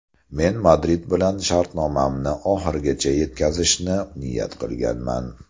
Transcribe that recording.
Men Madrid bilan shartnomamni oxirigacha yetkazishni niyat qilganman.